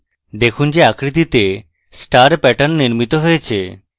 দেখুন যে আকৃতিতে star pattern নির্মিত হয়েছে